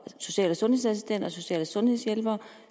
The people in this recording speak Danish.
social og sundhedsassistenter social og sundhedshjælpere og